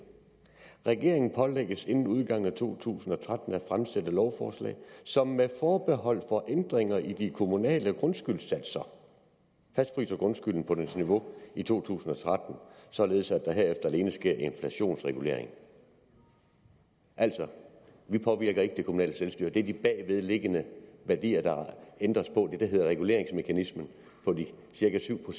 regeringen pålægges inden udgangen af to tusind og tretten at fremsætte lovforslag som med forbehold for ændringer i de kommunale grundskyldssatser fastfryser grundskylden på dens niveau i to tusind og tretten således at der herefter alene sker inflationsregulering altså vi påvirker ikke det kommunale selvstyre det er de bagvedliggende værdier der ændres på det der hedder reguleringsmekanismen på de cirka syv